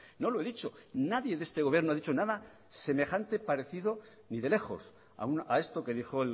no lo he dicho nadie de este gobierno ha dicho nada semejante parecido ni de lejos a esto que dijo